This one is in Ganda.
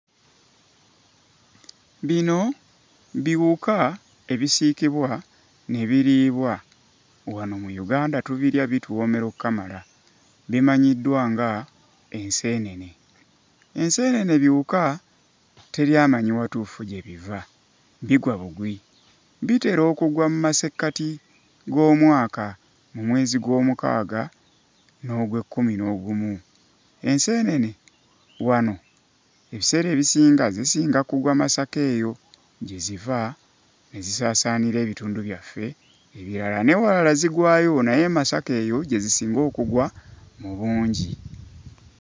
Bino biwuka ebisiikibwa ne biriibwa. Wano mu Uganda tubirya bituwoomera okkamala; bimanyiddwa ng'enseenene. Enseenene biwuka, teri amanyi watuufu gye biva; bigwa bugwi. Bitera okugwa mu masekkati g'omwaka mu mwezi Gwomukaaga n'Ogwekkuminoogumu. Enseenene wano ebiseera ebisinga zisinga kugwa Masaka eyo; gye ziva ne zisaasaanira ebitundu byaffe ebirala. N'ewalala zigwayo naye e Masaka eyo gye zisinga okugwa mu bungi.